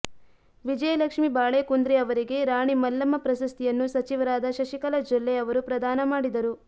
ವಿಜಯಲಕ್ಷ್ಮೀ ಬಾಳೇಕುಂದ್ರಿ ಅವರಿಗೆ ರಾಣಿ ಮಲ್ಲಮ್ಮ ಪ್ರಶಸ್ತಿಯನ್ನು ಸಚಿವರಾದ ಶಶಿಕಲಾ ಜೊಲ್ಲೆ ಅವರು ಪ್ರದಾನ ಮಾಡಿದರು